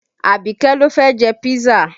Abike ló fẹ́ jẹ písà